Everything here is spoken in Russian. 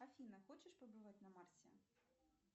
афина хочешь побывать на марсе